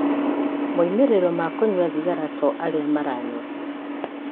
Moimĩrĩro ma kũnyua thigara to arĩa maranyua.